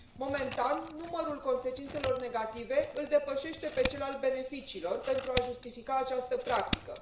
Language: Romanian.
Momentan, numărul consecințelor negative îl depășește pe cel al beneficiilor pentru a justifica această practică.